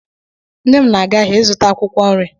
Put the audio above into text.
Nne m na-aga ahịa ịzụta akwụkwọ nri.